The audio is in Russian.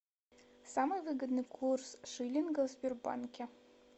самый выгодный курс шиллинга в сбербанке